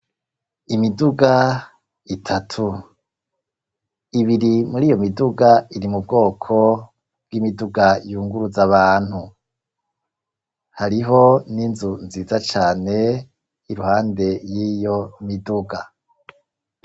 Imiduga itatu, ibiri muriyo miduga iri mu bwoko bw'imiduga yunguruza abantu, hariho n'inzu nziza cane iruhande y'iyo miduga.